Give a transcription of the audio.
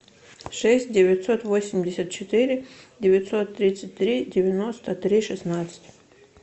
шесть девятьсот восемьдесят четыре девятьсот тридцать три девяносто три шестнадцать